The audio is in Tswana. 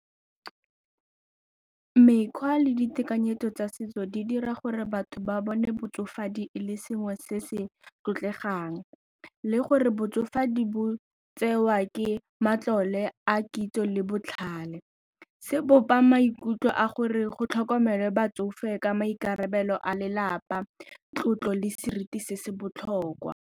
Mekgwa le ditekanyetso tsa setso di dira gore batho ba bone botsofe madi le sengwe se se tlotlegang le gore botsofadi bo tsewa ke matlole a kitso le botlhale. Se bopang maikutlo a gore go tlhokomele batsofe ka maikarabelo a lelapa, tlotlo le seriti se se botlhokwa.